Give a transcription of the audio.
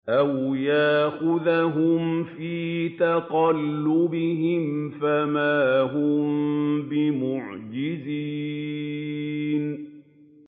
أَوْ يَأْخُذَهُمْ فِي تَقَلُّبِهِمْ فَمَا هُم بِمُعْجِزِينَ